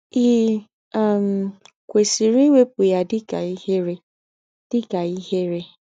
Ì um kwesịrị iwepụ ya dị ka ihere? ka ihere?